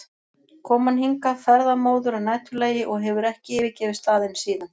kom hann hingað ferðamóður að næturlagi og hefur ekki yfirgefið staðinn síðan.